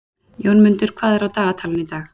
Jómundur, hvað er á dagatalinu í dag?